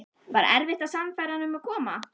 Var erfitt að sannfæra hann um að koma?